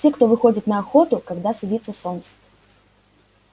те кто выходит на охоту когда садится солнце